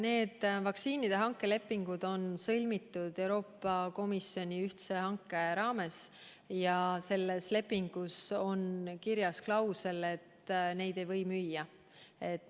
Nende vaktsiinide hanke leping on sõlmitud Euroopa Komisjoni ühtse hanke raames ja selles lepingus on kirjas klausel, et neid ei või müüa.